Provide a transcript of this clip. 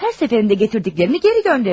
Hər dəfə gətirdiklərini geri göndərir.